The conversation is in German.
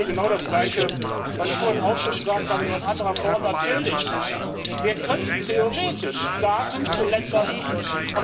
Das ist im Grunde genau das Gleiche, was ich vorhin auch schon gesagt habe, nur in anderer Form Natürlich, wir könnten theoretisch Daten zu Ländern bieten.